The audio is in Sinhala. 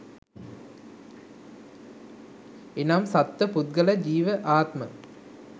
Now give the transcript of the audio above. එනම් සත්ව පුද්ගල ජීව ආත්ම